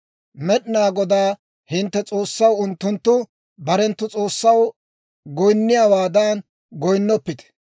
«Med'inaa Godaa hintte S'oossaw unttunttu barenttu s'oossaw goyinniyaawaadan goyinnoppite.